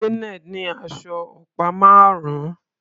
Janet ní aṣọ ọ̀pá márùn-ún.